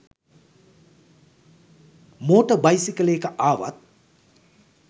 motor බයිසිකලයක ආවත්